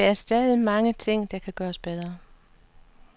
Der er stadig mange ting, der kan gøres bedre.